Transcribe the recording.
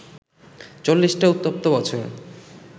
চল্লিশটা উত্তপ্ত বছর